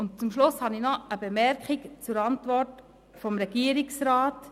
Am Schluss habe ich noch eine Bemerkung zur Antwort des Regierungsrats.